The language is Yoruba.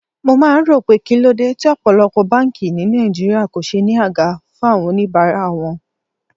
Mo máa ń rò pé kíló dé tí ọ̀pọ̀lọpọ̀ báńkì ni Nàìjíríà kò ṣe ní àga fún àwọn oníbàárà wọn.